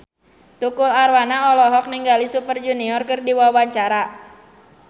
Tukul Arwana olohok ningali Super Junior keur diwawancara